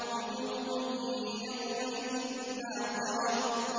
وُجُوهٌ يَوْمَئِذٍ نَّاضِرَةٌ